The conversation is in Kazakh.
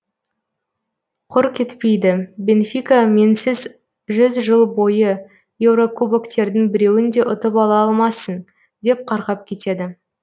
құр кетпейді бенфика менсіз жүз жыл бойы еурокубоктердің біреуін де ұтып ала алмасын деп қарғап кетеді